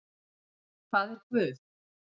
Hvað er guð?